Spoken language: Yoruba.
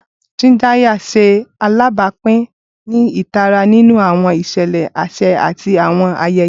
Chindaya ṣe alabapin ni itara ninu awọn iṣẹlẹ aṣa ati awọn ayẹyẹ.